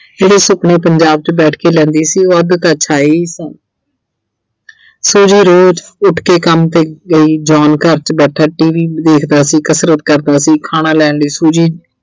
ਜਿਹੜੇ ਸੁਪਨੇ ਪੰਜਾਬ 'ਚ ਬੈਠ ਕੇ ਲੈਂਦੀ ਸੀ ਉਹ ਅੱਧ ਤਾਂ ਛਾਏ ਈ ਸਨ, Suji ਰੋਜ ਉੱਠ ਕੇ ਕੰਮ ਤੇ ਅਹ ਗਈ John ਘਰ 'ਚ ਬੈਠਾ T. V ਦੇਖਦਾ ਸੀ, ਕਸਰਤ ਕਰਦਾ ਸੀ, ਖਾਣਾ ਲੈਣ ਲਈ Suji